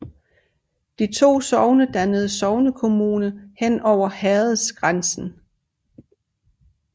De to sogne dannede sognekommune hen over herredsgrænsen